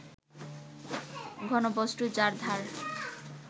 ঘনবস্তু যার ধার